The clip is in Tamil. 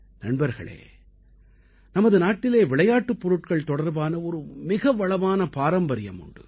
நண்பர்களே நமது நாட்டிலே விளையாட்டுப் பொருட்கள் தொடர்பான ஒரு மிக வளமான பாரம்பரியம் உண்டு